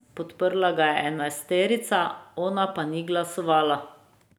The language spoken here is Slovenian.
Podprla ga je enajsterica, ona pa ni glasovala.